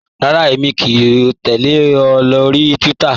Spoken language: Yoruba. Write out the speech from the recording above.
Rárá, èmi kò tẹ̀lẹ̀ ọ lórí Twitter.